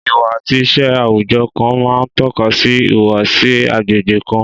Ìwà àti ìṣe àwùjọ kan máa ń tọ́ka sí ìhùwàsí agbègbè kan